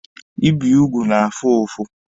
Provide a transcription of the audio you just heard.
Ibi ugwu na-afụ ụfụ.